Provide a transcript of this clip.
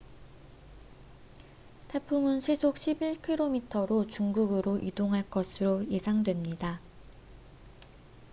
태풍은 시속 11킬로미터로 중국으로 이동할 것으로 예상됩니다